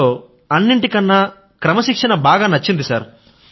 C లో అన్నింటికన్నా క్రమశిక్షణ బాగా నచ్చింది సర్